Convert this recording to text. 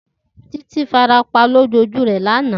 Titi farapa loju oju rẹ lana.